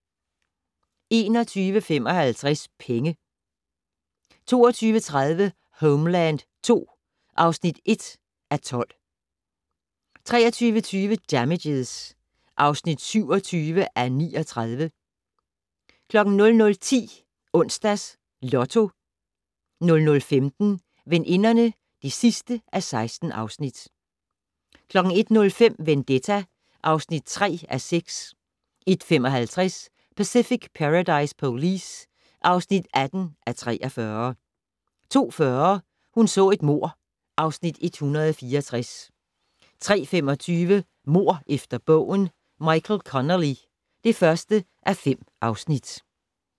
21:55: Penge 22:30: Homeland II (1:12) 23:20: Damages (27:39) 00:10: Onsdags Lotto 00:15: Veninderne (16:16) 01:05: Vendetta (3:6) 01:55: Pacific Paradise Police (18:43) 02:40: Hun så et mord (Afs. 164) 03:25: Mord efter bogen - Michael Connelly (1:5)